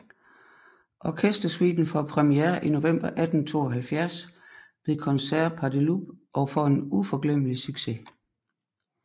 Orkestersuiten får premiere i november 1872 ved Concerts Pasdeloup og får en uforglemmelig succes